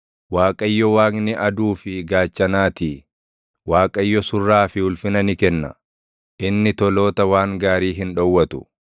Waaqayyo Waaqni aduu fi gaachanaatii; Waaqayyo surraa fi ulfina ni kenna; inni toloota waan gaarii hin dhowwatu.